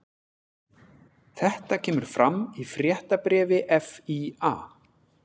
Þetta kemur fram í fréttabréfi FÍA